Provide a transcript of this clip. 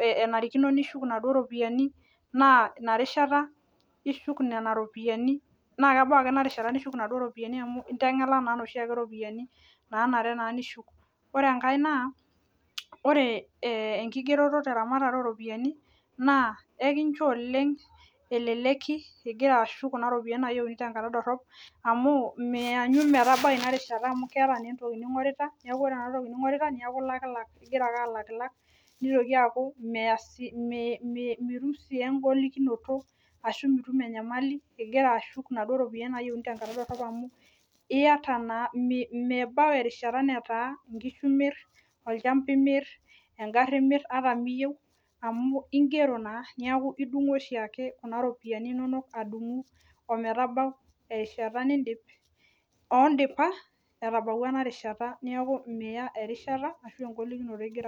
enarikino nishuk inaduo ropiyiani naa ina rishata ishuk nena ropiyiani naa kebau ake enaduo rishata nishuk nena. Ropiyiani amu inteng'ela naa nena ropiyiani naanare naa nishuk ore enkae naa ore enkigereto teramarare ooropiyiani naa enkincho oleng eleleki igira ashuk kuna ropiyiani naayieuni tenkata dorop amu mianyu metabai ina rishata amu keeta naa. Entoki ning'orita neeku ore ena toki ning'orita neeku ingira ake alakilak nieitoki aaku mitum sii engolikinoto ashuu mitum enyamali ingira asshuk inaduo ropiyiani tenkata dorop amu iyata naa mebau erishata enkishu imir olchamba imir engari imir amu ingero naa neeku idung'u oshiake kuna ropiyiani inonok omedabau erishata nindiip oondipa etabawua ena rishata